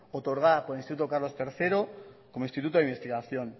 otorgada por el instituto carlos tercero como instituto de investigación